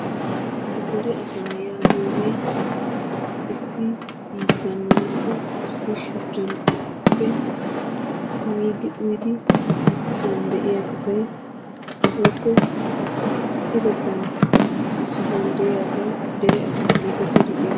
Deree asaa yaagiyogee issi biittan woykko issi shuchchan issippe miidi uyidi ississan de'iya asay woykko issippetettan issi sohuwan de'iya asay dere asaa gettettidi xes...